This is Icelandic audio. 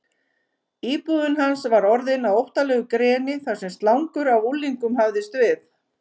Íbúðin hans var orðin að óttalegu greni þar sem slangur af unglingum hafðist við.